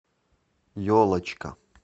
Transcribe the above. елочка